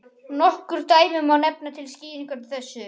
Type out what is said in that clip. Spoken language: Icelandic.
Nokkur dæmi má nefna til skýringar á þessu.